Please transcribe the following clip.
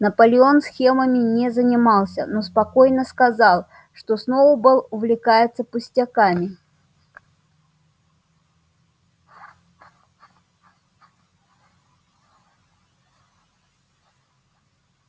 наполеон схемами не занимался но спокойно сказал что сноуболл увлекается пустяками